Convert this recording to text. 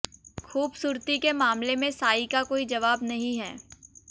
खूबसूरती के मामले में साईं का कोई जवाब नहीं है